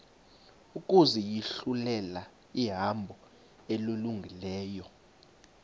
ukuzinyulela ihambo elungileyo